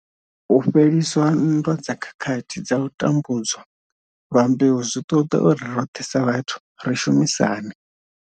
U fhelisa nndwa dza khakhathi dza u tambu dzwa lwa mbeu zwi ṱoḓa uri roṱhe sa vhathu ri shumisane.